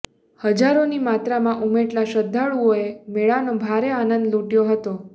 હજારોની માત્રામાં ઉમટેલા શ્રધ્ધાળુઓએ મેળાનો ભારે આનંદ લૂટયો હતો